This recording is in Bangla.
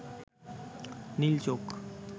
নীল চোখ